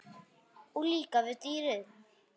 Og líka við dýrin.